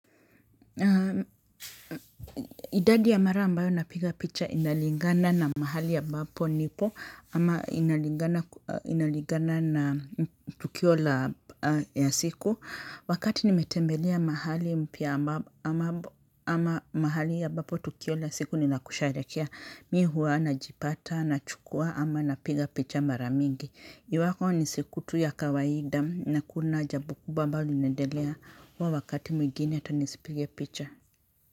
Idadi ya mara ambayo napiga picha inalingana na mahali ambapo nipo ama inalingana na tukio la ya siku. Wakati nimetembelea mahali mpya ama mahali ambapo tukio la ya siku nila kushehekia mimi huwa najipata nachukua ama napiga picha mara mingi. Iwapo ni siku tu ya kawaida na hakuna jambo kubwa ambalo linaendelea huwa wakati mwingine hata nisipige picha.